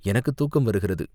எனக்குத் தூக்கம் வருகிறது.